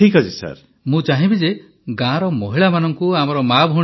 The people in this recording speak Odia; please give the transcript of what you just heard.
ପ୍ରଧାନମନ୍ତ୍ରୀ ମୁଁ ଚାହିଁବି ଯେ ଗାଁର ମହିଳାମାନଙ୍କୁ ଆମର ମାଆ ଭଉଣୀମାନଙ୍କୁ